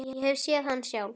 Ég hef séð hann sjálf!